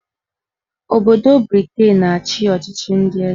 Obodo Briten na-achị ọchịchị ndị eze